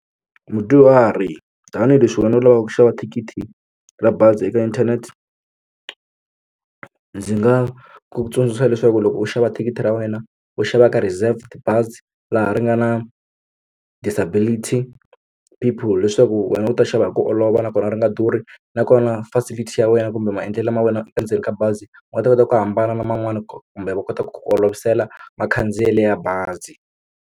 Mudyuhari tanihileswi wena u lavaka ku xava thikithi ra bazi eka inthanete ndzi nga ku tsundzuxa leswaku loko u xava thikithi ra wena u xava ka reserved bazi laha ri nga na disability people leswaku wena u ta xava hi ku olova nakona ri nga durhi nakona facility ya wena kumbe maendlelo lama wena endzeni ka bazi ma ta kota ku hambana na man'wani kumbe va kota ku ku olovisela makhandziyelo ya bazi.